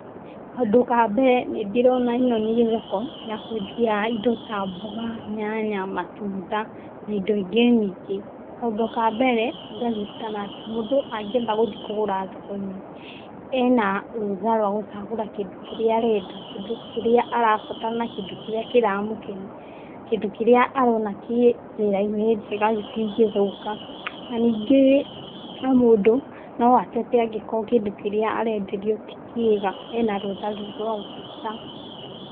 Kaũndũ ka mbere, nĩndĩrona ĩno nĩ thoko ya kwendia indo ta mboga, nyanya, matunda na indo ingĩ nyingĩ. Kaũndũ ka mbere, ngaririkana atĩ mũndũ angĩenda gũthi kũgũra thoko-inĩ, ena rũtha rwa gũcagũra kĩndũ kĩrĩa arenda, kĩndũ kĩrĩa arabatara na kĩndũ kĩrĩa kĩramũkenia, kĩndũ kĩrĩa arona kĩ njĩra-inĩ njega gĩtingĩthũka na ningĩ o mũndũ no atete angĩkorwo kĩndũ kĩrĩa arenderio ti kĩega, ena rũtha rũu rwa gũteta.